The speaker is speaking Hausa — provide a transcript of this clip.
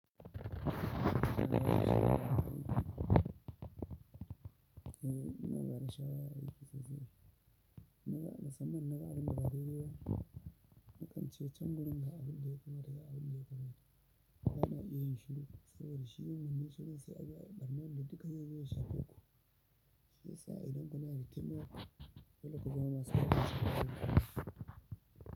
Eh ina bada shawara a siki sosai. In na musamman na ga abin da ba daidai ba, na ƙan ce can gurin da abin da yake mata da abin da yake mata. Ba na iya yin shiru saboda shi yim manna shiru sai a biya ɓarnan da duka zai zo ya shafeku. Shi ya sa idan kuna da taimako dole ku zama masu ku.